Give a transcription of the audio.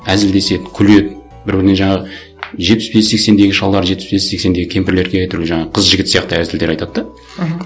әзілдеседі күледі бір біріне жаңағы жетпіс бес сексендегі шалдар жетпіс бес сексендегі кемпірлерге әйтеуір жаңағы қыз жігіт сияқты әзілдер айтады да мхм